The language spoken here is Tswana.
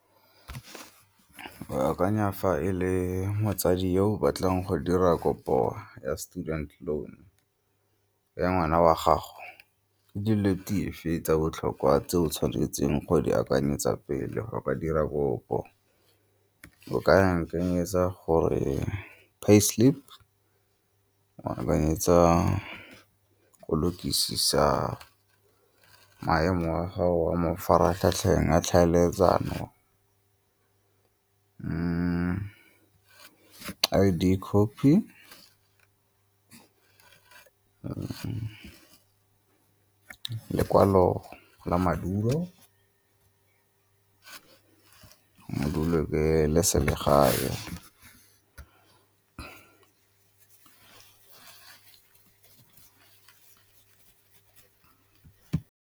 Ke akanya fa e le motsadi ko o batlang go dira kopo ya student loan, ya ngwana wa gago. tsa botlhokwa tse o tshwanetseng go di akanyetsa pele ga o ka dira kopo? O ka ya nkanyetsa gore pay slip, o a akanyetsa go lokisisa maemo a gago a mafaratlhatlheng a tlhaeletsano, I_D copy, lekwalo la madulo, madulo ke le selegae.